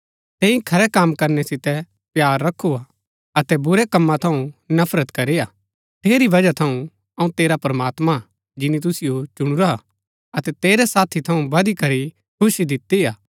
तैंई खरै कम करनै सितै प्‍यार रखु हा अतै बुरै कमा थऊँ नफरत करी हा ठेरी बजहा थऊँ अऊँ तेरा प्रमात्मां जिनी तुसिओ चुणुरा हा अतै तेरै साथी थऊँ बधी करी खुशी दिती हा